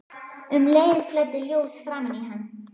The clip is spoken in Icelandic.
Um leið flæddi ljós framan í hann.